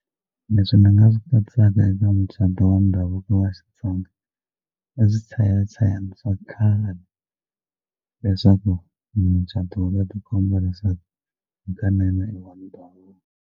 Leswi ni nga swi katsaka eka mucato wa ndhavuko wa Xitsonga i swichayachayani swa khale leswaku mucato wa vona wu ti komba leswaku hikanene i wa ndhavuko.